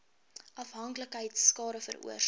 afhanklikheid skade veroorsaak